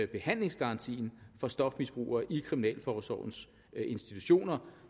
behandlingsgarantien for stofmisbrugere i kriminalforsorgens institutioner